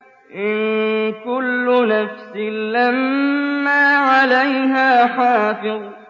إِن كُلُّ نَفْسٍ لَّمَّا عَلَيْهَا حَافِظٌ